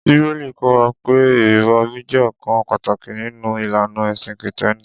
Bíbélì kọ́ wa pé ìrìbọmi jẹ́ ọ̀kan pàtàkì nínú ìlànà ẹ̀sìn Kìtẹ́ẹ́nì.